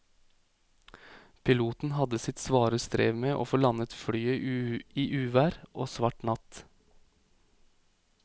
Piloten hadde sitt svare strev med å få landet flyet i uvær og svart natt.